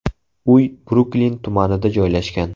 Uy Bruklin tumanida joylashgan.